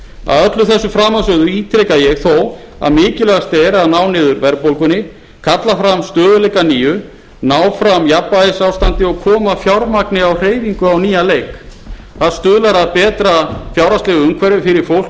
að öllu þessu framansögðu ítreka ég þó að mikilvægast er að ná niður verðbólgunni kalla fram stöðugleika að nýju ná fram jafnvægisástandi og koma fjármagni á hreyfingu á nýjan leik það stuðlar að betra fjárhagslegu umhverfi fyrir fólk